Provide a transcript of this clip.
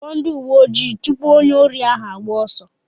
Kpọọ ndị uwe ojii tụpụ onye órí ahụ agbaa ọsọ.